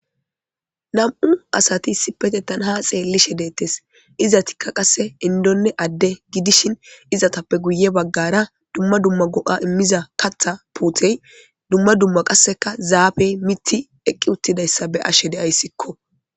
Ham7u asati sipete tanaha xeellishe deettes iza tikka qasse indonne adde gidishin izatappe guye baggara dumma dumma go7a immiza katha puutey dumma dumma qasseka zaabey miti eqqi uttidayssa be ashe deayssikko